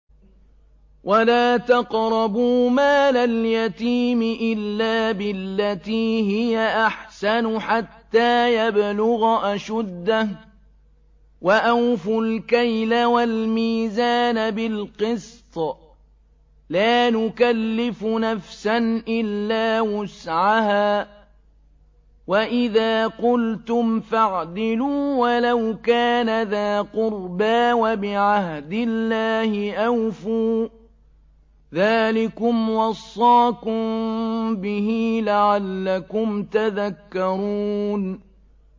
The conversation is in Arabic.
وَلَا تَقْرَبُوا مَالَ الْيَتِيمِ إِلَّا بِالَّتِي هِيَ أَحْسَنُ حَتَّىٰ يَبْلُغَ أَشُدَّهُ ۖ وَأَوْفُوا الْكَيْلَ وَالْمِيزَانَ بِالْقِسْطِ ۖ لَا نُكَلِّفُ نَفْسًا إِلَّا وُسْعَهَا ۖ وَإِذَا قُلْتُمْ فَاعْدِلُوا وَلَوْ كَانَ ذَا قُرْبَىٰ ۖ وَبِعَهْدِ اللَّهِ أَوْفُوا ۚ ذَٰلِكُمْ وَصَّاكُم بِهِ لَعَلَّكُمْ تَذَكَّرُونَ